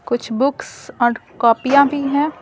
कुछ बुक्स और कॉपियां भी हैं।